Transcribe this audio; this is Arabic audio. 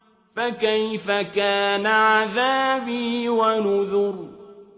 فَكَيْفَ كَانَ عَذَابِي وَنُذُرِ